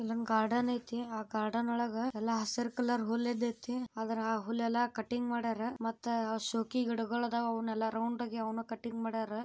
ಇದು ಒಂದು ಗಾರ್ಡನ್ ಐತೆ ಎಲ್ಲಾ ಕಡೆ ಹಸಿರು ಐತೆ ಇಲ್ಲಿ ಕಟಿಂಗ್ ಮಾಡೋರೆ ಹುಲ್ಲುಗಳೆಲ್ಲ ರೌಂಡ್ ರೌಂಡ್ ಕಟಿಂಗ್ ಮಾಡವ್ರೆ